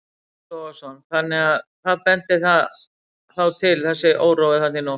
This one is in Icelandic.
Breki Logason: Þannig að, að hvað bendir það þá til þessi órói þarna í nótt?